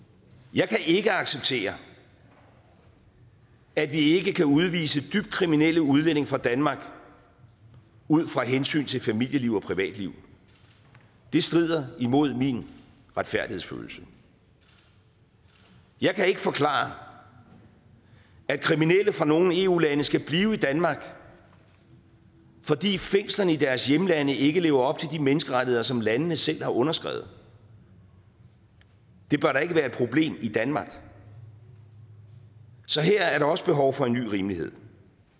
jeg kan ikke acceptere at vi ikke kan udvise dybt kriminelle udlændinge fra danmark ud fra et hensyn til familieliv og privatliv det strider imod min retfærdighedsfølelse jeg kan ikke forklare at kriminelle fra nogle eu lande skal blive i danmark fordi fængslerne i deres hjemlande ikke lever op til de menneskerettigheder som landene selv har underskrevet det bør da ikke være et problem i danmark så her er der også behov for en ny rimelighed